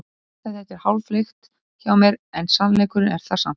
Óli Stefán Flóventsson var gestur þáttarins.